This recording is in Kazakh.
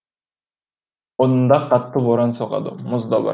онда қатты боран соғады мұз да бар